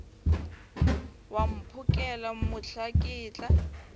wa mphokela mohla ke tla